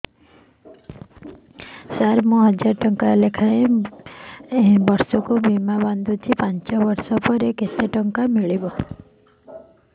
ସାର ମୁଁ ହଜାରେ ଟଂକା ଲେଖାଏଁ ବର୍ଷକୁ ବୀମା ବାଂଧୁଛି ପାଞ୍ଚ ବର୍ଷ ପରେ କେତେ ମିଳିବ